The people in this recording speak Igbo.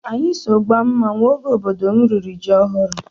Anyị so gbaa mmanwụ oge obodo m riri ji ọhụrụ.